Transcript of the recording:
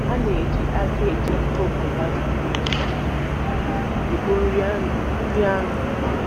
A na-eji aka e ji iko pulastịkị ekpo nri anụ. nri anụ.